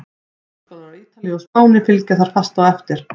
Háskólar á Ítalíu og Spáni fylgja þar fast á eftir.